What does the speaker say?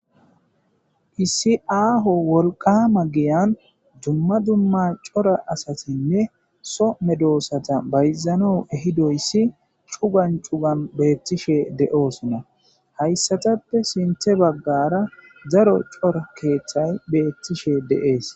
issi aaho wolqama giyan dumma dumma cora asatinne soo medoossata bayzan ehidoyssi cugan cugan beettishe de'oosonna. hayssatappe sinthe baggara zaro cora keeththay beettishe de'ees.